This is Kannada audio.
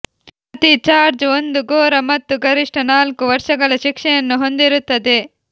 ಪ್ರತಿ ಚಾರ್ಜ್ ಒಂದು ಘೋರ ಮತ್ತು ಗರಿಷ್ಠ ನಾಲ್ಕು ವರ್ಷಗಳ ಶಿಕ್ಷೆಯನ್ನು ಹೊಂದಿರುತ್ತದೆ